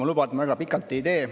Ma luban, et ma väga pikalt ei tee.